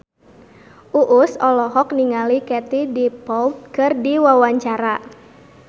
Uus olohok ningali Katie Dippold keur diwawancara